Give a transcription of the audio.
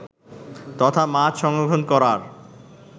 তথা মাছ সংরক্ষণ করার